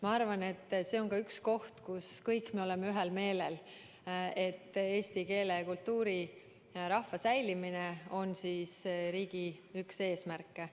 Ma arvan, et selles me oleme kõik ühel meelel, et eesti keele, kultuuri ja rahva säilimine on üks riigi eesmärke.